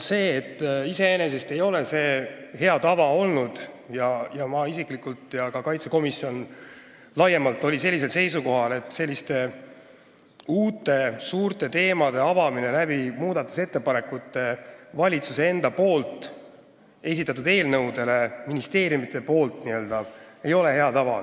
Nii mina isiklikult kui ka riigikaitsekomisjon laiemalt on seisukohal, et uute suurte teemade avamine muudatusettepanekute kaudu, mis tulevad ministeeriumidest ja on tehtud valitsuse enda esitatud eelnõude kohta, ei ole iseenesest hea tava.